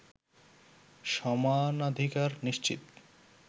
সমানাধিকার নিশ্চিত